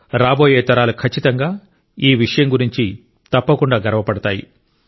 రాబోయే తరాలు ఖచ్చితంగా ఈ విషయం గురించి తప్పకుండా గర్వపడతాయి